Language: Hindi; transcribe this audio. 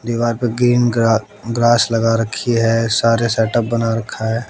दीवार पर ग्रीन गा ग्रास लगा रखी है सारे सेटअप बना रखा है।